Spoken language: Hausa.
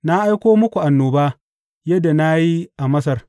Na aiko muku annoba yadda na yi a Masar.